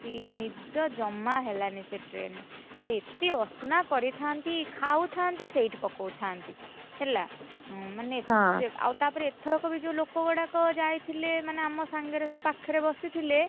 ନିଦ ଜମା ହେଲାନି ସେ train ରେ ଆଉ ଏତେ ଅ, ସନା କରିଥାନ୍ତି ଖାଉଥାନ୍ତି ସେଇଠି ପକଉଥାନ୍ତି, ହେଲା ମାନେ ଆଉ ତାପରେ ଏଥର ବି ଯୋଉ ଲୋକଗୁଡାକ ମାନେ ଯାଇଥିଲେ ମାନେ ଆମ ସାଙ୍ଗରେ ସବୁ ପାଖରେ ବସିଥିଲେ।